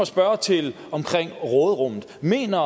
spørge til råderummet mener